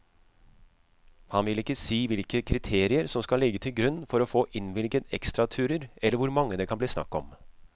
Han vil ikke si hvilke kriterier som skal ligge til grunn for å få innvilget ekstraturer eller hvor mange det kan bli snakk om.